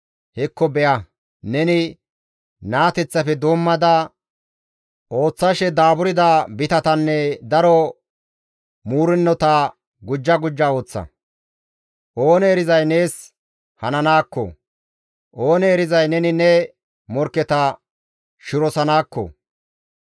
Hekko be7a; neni naateththafe doommada ooththashe daaburda bitatanne daro muurennota gujja gujja ooththa; oonee erizay nees hananaakko, oonee erizay neni ne morkketa shirosanaakko?